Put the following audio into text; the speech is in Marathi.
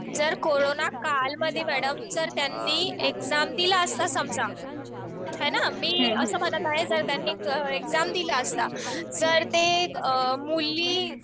जर कोरोना काळ मध्ये मॅडम जर त्यांनी एक्झाम दिला असता समजा है ना. मी असं म्हणत आहे जर का त्यांनी एक्झाम दिला असता जर ते मुली